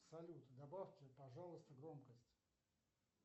салют добавьте пожалуйста громкость